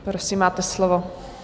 Prosím, máte slovo.